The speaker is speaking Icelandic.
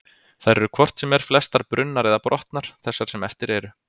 Þær eru hvort sem er flestar brunnar eða brotnar, þessar sem eftir eru.